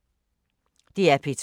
DR P2